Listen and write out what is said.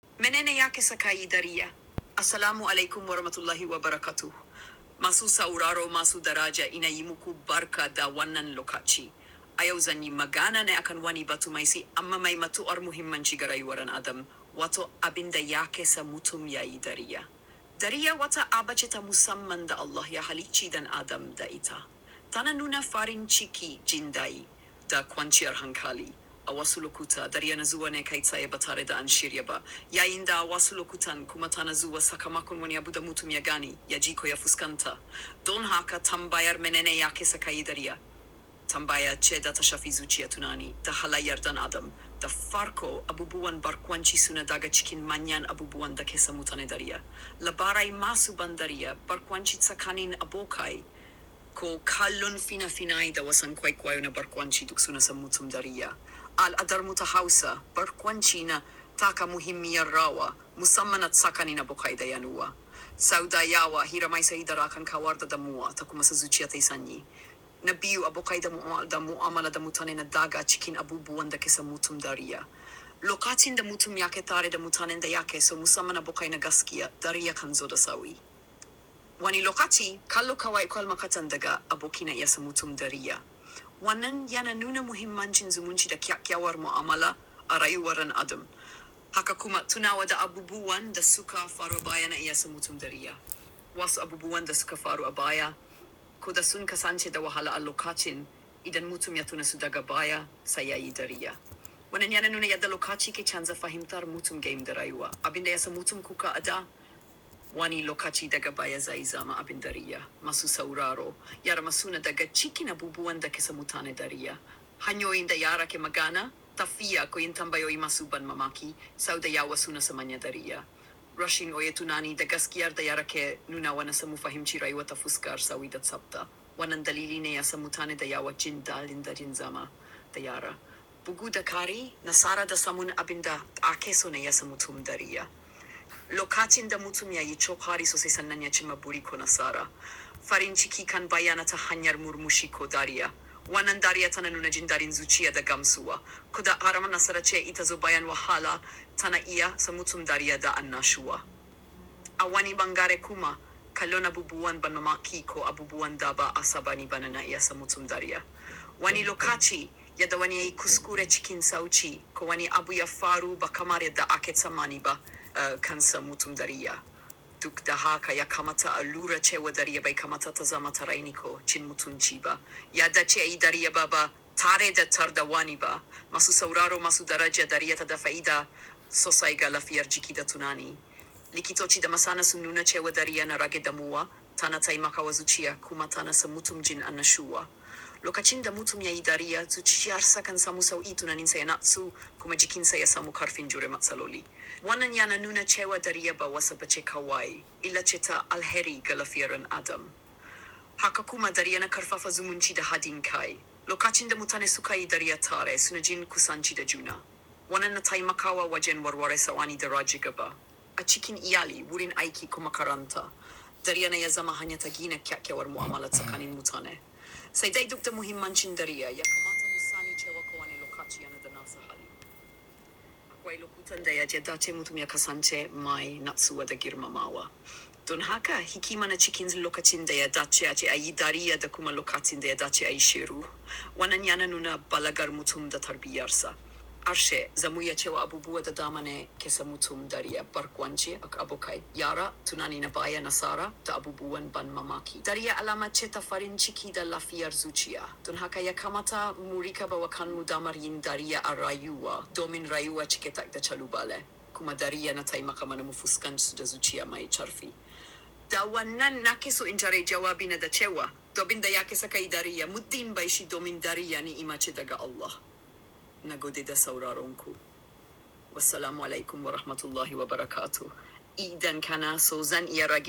Menene yake sa kayi dariya. Assalamualaikum Warahmatullahi Wabarakatuh. Ma su sauraro ma su daraja ina yi muku barka da wannan lokaci. Ay yau zani magana ne akan wani batu mai si amma mai matu'ar muhimmancin ga raiwarin adam wato abinda yake sa mutum yayi dariya. Dariya wata aba ce ta musamman da Allah ya halicci dan adam da ita. Tana nuna farin ciki, jin dai da kwanciyar hankali. A wasu lokuta, dariya nazuwa ne kai tsaye batare da an shirya ba. Yayinda a wasu lokutan kuma ta nazuwa sakamakon wani abuda mutum ya gani, ya ji ko ya fuskan ta. Don haka tambayar menene yake sakayi dariya? Tambayar ce ta shafi zuciya tunani da halayyar dan adam. Ta farko, abubuwan barkwanci suna daga cikin manyan abubuwan dake sa mutane dariya. Labarai masu ban dariya, barkwanci tsakanin abokai ko kallon fina-finai da wasan kwaikwayo na barkwanci duk suna sa mutum dariya. Al'adar mu ta Hausa, barkwanci na taka muhimmiyar rawa musamman a tsakanin abokai da yanuwa. Sau da yawa, hira mai sahi da rakan kawarda damuwa ta kuma su zuciya ta yi sanyi. Na biyu, abokai damuwa da mu'amala damutane na daga cikin abubuwan dake sa mutum dariya. Lokacin da mutum yake tare da mutanen da yake so musamman abokai na gaskiya, dariya kan zo da sauƙi. Wani lokaci, kallo kawai kwal makatan daga aboki na iya sa mutum dariya. Wannan yana nuna muhimmancin zumunci da kya-kyawar mu'amala a rayuwar en adam. Haka kuma tunawa da abubuwan da suka faru baya na iya sa mutum dariya. Wasu abubuwan da suka faru a baya ko da sun kasance da wahala a lokacin, idan mutum ya tuna su daga baya, sai yayi dariya. Wannan yana nuna yadda lokaci ke canza fahimtar mutum game da raiwa. Abinda ya sa mutum kuka a da, wani lokaci daga baya zai zama abin dariya. Ma su sauraro, yana masuna daga cikin abubuwan dake sa mutane dariya. Hanyoyi da yara ke magana, tafiya koyon tambayi masu ban mamaki, sau da yawa suna sa manya dariya. Rashi oye tunani da gaskiyar da yara ke nuna wane samun fahimci raiwa ta fuskar sauri da tsabta. Wannan dalili ne ya sa mutane da yawa jinda lindarin zama da yara. Bugu da kari, nasara da samun abinda ake so ne ya sa mutum dariya. Lokacin da mutum ya yi kokari sosai sannanu ya ci mabudi ko nasara, farin ciki kan bayana ta hanyar murmushi ko dariya. Wannan dariya tana nuna jin da rin zuciya da gamsuwa. Ko da harama nasara ce ita zobayan wahala, tana iya sa mutum dariya da annashuwa. A wani bangare kuma, kallo na abubuwan ban mamaki ko abubuwan daba asabani bane na iya sa mutum dariya. Wani lokaci, yadda wani yayi kuskure cikin sauƙi ko wani abu ya faru ba kamar yadda ake tsammani ba, eh kan sa mutum dariya. Duk da haka, ya kamata a lura cewa dariya bai kamata ta zama tarainiko cin mutunci ba. Yadda ce yi dariya baba tare da tar da wani ba. Ma su sauraro ma su daraja, dariya ta dafa'ida sosai ga lafiyar jiki da tunani. Likitoci da masana sun nuna cewa dariya na rage damuwa, tana taimakawa zuciya kuma tana sa mutum jin annashuwa. Lokacin da mutum yayi dariya, zuciyar sa kan samu sauƙi tunanin saya na tsu kuma jikin saya samu karfin jure matsali loli. Wannan yana nuna cewa dariya ba wasaba ce kawai, illa ce ta alheri ga lafiyar ɗan adam. Haka kuma dariya na ƙarfafa zumunci da haɗin kai. Lokacin da mutane sukayi dariya tare, suna jin kusanci da juna. Wannan na taimakawa wajen warware saƙoni da rajigaba. A cikin iyali, wurin aiki ko makaranta, dariya na yazama hanyar ta ƙyaƙyawar mu'amala tsakanin mutane. Sai dai duk da muhimmancin dariya, ya kamata mu sani cewa ko wane lokaci yana da nasaha. Akwai lokutan da ya dace da ce mutum ya kasance mai natsuwa da girmamawa. Don haka, hikima na cikin lokacin da ya dace a ce a yi dariya da kuma lokacin da ya dace a yi shiru. Wannan yana nuna balagar mutum da tarbiyarsa. Harshe, zamuyi cewa abubuwa da damane ke sa mutum dariya, barkwanci, abokai, yara, tunani na baya, nasara da abubuwan ban mamaki. Dariya alama ce ta farin ciki da lafiyar zuciya. Don haka ya kamata mu riƙa bawa kanmu damar yin dariya a rayuwa domin rayuwa cike tak da calubale. Kuma dariya na taimakawa manufuskan su da zuciya mai ƙarfi. Da wannan nake so in jarrabi jawabina da cewa, abinda yake sakayi dariya, mutum bai shi domin dariya ne ima ce daga Allah. Na gode da sauraronku. Wassalamualaikum Warahmatullahi Wabarakatuh. Idan kana so zan iya raka.